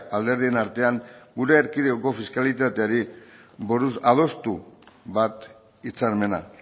alderdien artean gure erkidegoko fiskalitateari buruz adostu bat hitzarmena